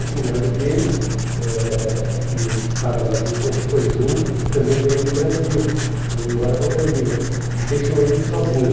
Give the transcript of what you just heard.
O cunhado dele, eh que estava na Argentina, que foi junto, também veio para o Brasil, veio embora para o Brasil e deixou ele sozinho.